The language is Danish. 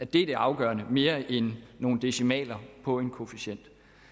det er det afgørende mere end nogle decimaler på en koefficient